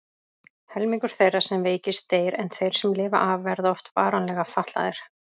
Helmingur þeirra sem veikist deyr en þeir sem lifa af verða oft varanlega fatlaðir.